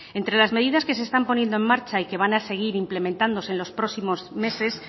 entre las medidas que se están poniendo en marcha y que van a seguir implementándose en los próximos meses